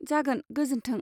जागोन, गोजोन्थों।